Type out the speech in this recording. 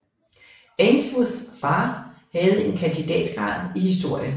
Ainsworth far havde en kandidatgrad i historie